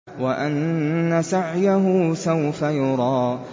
وَأَنَّ سَعْيَهُ سَوْفَ يُرَىٰ